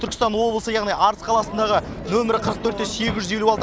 түркістан облысы яғни арыс қаласындағы нөмірі қырық төрт те сегіз жүз елу алты